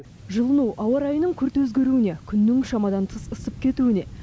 жылыну ауа райының күрт өзгеруіне күннің шамадан тыс ысып кетуіне